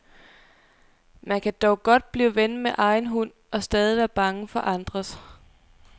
Man kan dog godt blive ven med egen hund og stadig være bange for andres.